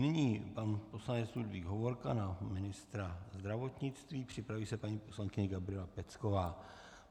Nyní pan poslanec Ludvík Hovorka na ministra zdravotnictví, připraví se paní poslankyně Gabriela Pecková.